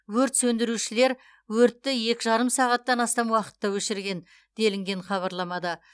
өрт сөндірушілер өртті екі жарым сағаттан астам уақытта өшірген делінген хабарламада